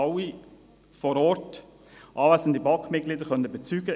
Das haben alle vor Ort anwesenden BaK-Mitglieder bezeugen können.